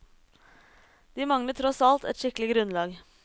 De mangler tross alt et skikkelig grunnlag.